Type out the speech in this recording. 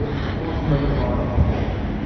курс боливаров